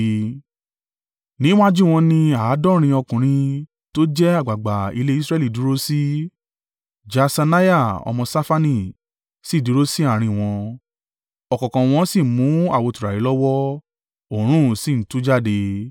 Níwájú wọn ni àádọ́rin ọkùnrin tó jẹ́ àgbàgbà ilé Israẹli dúró sí, Jaaṣaniah ọmọ Ṣafani sì dúró sí àárín wọn. Ọ̀kọ̀ọ̀kan wọn sì mú àwo tùràrí lọ́wọ́, òórùn sì ń tú jáde.